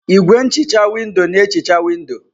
Igwé nhicha windo na-ehicha windò.